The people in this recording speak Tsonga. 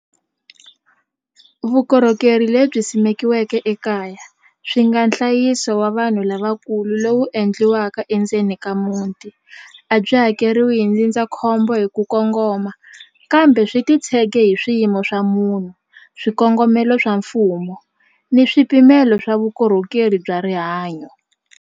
Vukorhokeri lebyi simekiweke ekaya swi nga nhlayiso wa vanhu lavakulu lowu endliwaka endzeni ka muti a byi hakeriwi hi ndzindzakhombo hi ku kongoma kambe swi titshege hi swiyimo swa munhu swikongomelo swa mfumo ni swipimelo swa vukorhokeri bya rihanyo.